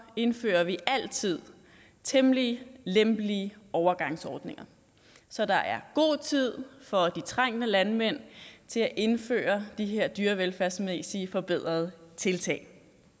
indfører vi altid temmelig lempelige overgangsordninger så der er god tid for de trængte landmænd til at indføre de her dyrevelfærdsmæssigt forbedrende tiltag